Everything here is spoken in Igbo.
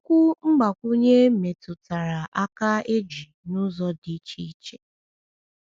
Okwu mgbakwunye metụtara aka eji na ụzọ dị iche iche.